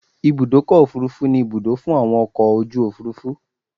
Ibùdọ́kọ̀ òfurufú ni Ibùdó fún àwọn ọkọ̀ ojú òfúrufú